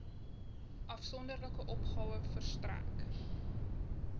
afsonderlike opgawe verstrek